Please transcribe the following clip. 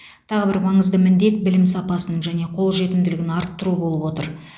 тағы бір маңызды міндет білім сапасын және қолжетімділігін арттыру болып отыр